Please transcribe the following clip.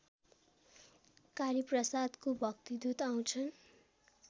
कालीप्रसादको भक्तिदूत आउँछन्